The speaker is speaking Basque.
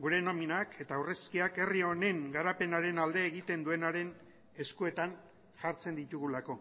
gure nominak eta aurrezkiak herri honen garapenaren alde egiten duenaren eskuetan jartzen ditugulako